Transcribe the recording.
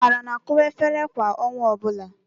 Amara na-akụwa efere kwa ọnwa ọbụla.